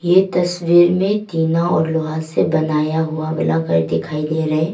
इ तस्वीर में तीना और लोहा से बनाया हुआ वला घर दिखाई दे रहा है।